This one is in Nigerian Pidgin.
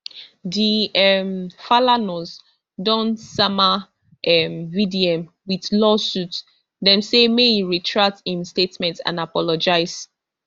di um falanas don sama um vdm wit lawsuit dem say make e retract im statement and apologise